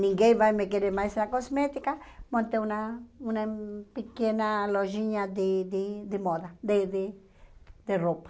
ninguém vai me querer mais na cosmética, montei uma uma pequena lojinha de de de moda, de de de roupa.